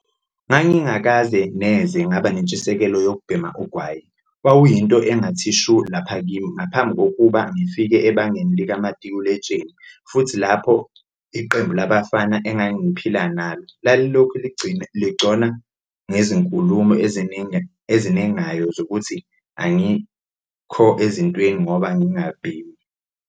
"Ngangingakaze neze ngaba nentshisekelo yokubhema ugwayi - wawuyinto engathi shu lapha kimi ngaphambi kokuba ngifike ebangeni likamatikuletsheni futhi lapho iqembu labafana engangiphila nalo lalilokhu lingigcona ngezinkulumo ezinengayo zokuthi angikho ezintweni ngoba ngingabhemi."